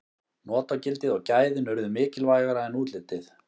notagildið og gæðin urðu mikilvægara en útlitið